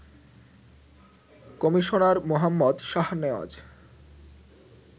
commissioner Mohammad Shahnawaz